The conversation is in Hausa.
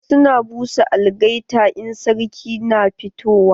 Wasu na busa algaita in sarki na fitowa.